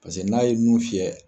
Paseke n'a ye nun fiyɛ